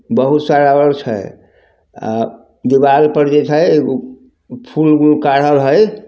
बहुत सारा और छै अ दीवाल पर जे छै फुल गुल काढ़ल हय----